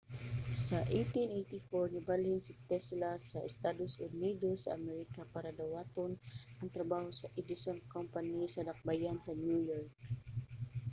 sa 1884 nibalhin si tesla sa estados unidos sa amerika para dawaton ang trabaho sa edison company sa dakbayan sa new york